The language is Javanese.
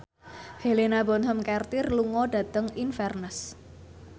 Helena Bonham Carter lunga dhateng Inverness